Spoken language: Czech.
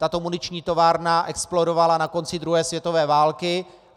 Tato muniční továrna explodovala na konci druhé světové války.